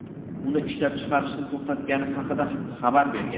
uni ishlab chiqarishni to‘xtatgani haqida xabar bergan.